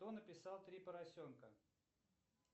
кто написал три поросенка